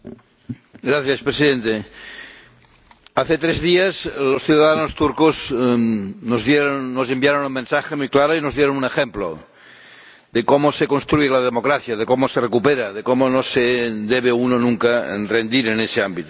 Señor Presidente, hace tres días los ciudadanos turcos nos enviaron un mensaje muy claro y nos dieron un ejemplo de cómo se construye la democracia, de cómo se recupera, de cómo no se debe uno nunca rendir en ese ámbito.